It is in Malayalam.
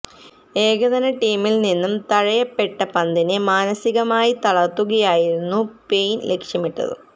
ഏകദിന ടീമിൽ നിന്ന് തഴയപ്പെട്ട പന്തിനെ മാനസികമായി തളർത്തുകയായിരുന്നു പെയിൻ ലക്ഷ്യമിട്ടത്